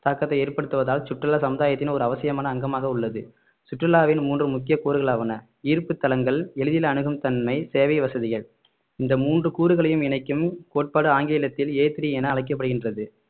தாக்கத்தை ஏற்படுத்துவதால் சுற்றுலா சமுதாயத்தின் ஒரு அவசியமான அங்கமாக உள்ளது சுற்றுலாவின் மூன்று முக்கிய கூறுகளாவன ஈர்ப்பு தலங்கள் எளிதில் அணுகும் தன்மை சேவை வசதிகள் இந்த மூன்று கூறுகளையும் இணைக்கும் கோட்பாடு ஆங்கிலத்தில் a three என அழைக்கப்படுகின்றது